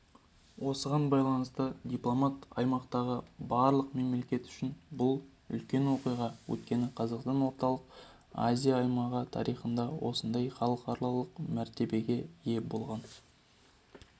осыған байланысты дипломат аймақтағы барлық мемлекеттік үшін бұл үлкен оқиға өйткені қазақстан орталық азия аймағы тарихында осындай халықаралық мәртебеге ие болған